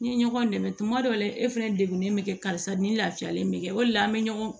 N ye ɲɔgɔn dɛmɛ tuma dɔw la e fɛnɛ degunnen bɛ kɛ karisa ni lafiyalen bɛ kɛ o de la an bɛ ɲɔgɔn